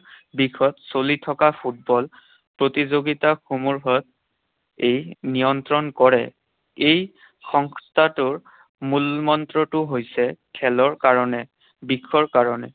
দিশত চলি থকা ফুটবল প্ৰতিযোগিতাসমূহত ই নিয়ন্ত্ৰণ কৰে। এই সংস্থাটোৰ মূলমন্ত্ৰটো হৈছে, খেলৰ কাৰণে, বিষৰ কাৰণে।